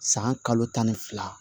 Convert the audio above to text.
San kalo tan ni fila